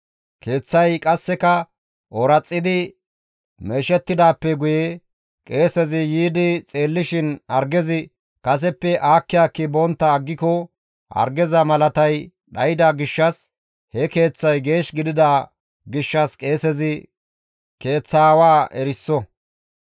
«Keeththay qasseka ooraxidi meeshettidaappe guye qeesezi yiidi xeellishin hargezi kaseppe aakki aakki bontta aggiko, hargeza malatay dhayda gishshas, he keeththay geesh gidida gishshas qeesezi keeththa aawaa eriso.